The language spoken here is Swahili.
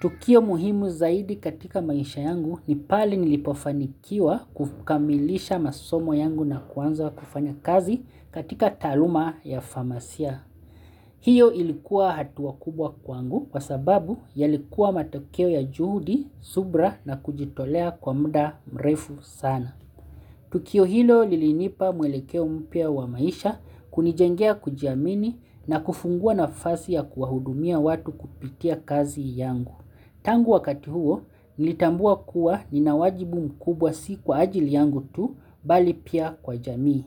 Tukio muhimu zaidi katika maisha yangu ni pale nilipofanikiwa kukamilisha masomo yangu na kuanza kufanya kazi katika taluma ya farmasia. Hiyo ilikuwa hatua kubwa kwangu kwa sababu yalikuwa matokeo ya juhudi, subra na kujitolea kwa muda mrefu sana. Tukio hilo lilinipa mwelekeo mpya wa maisha kunijengea kujiamini na kufungua nafasi ya kuwahudumia watu kupitia kazi yangu. Tangu wakati huo, nilitambua kuwa ninawajibu mkubwa si kwa ajili yangu tu, mbali pia kwa jamii.